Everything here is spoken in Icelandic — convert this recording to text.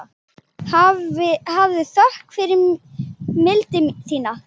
Hafðu þökk fyrir mildi þína.